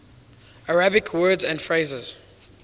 arabic words and phrases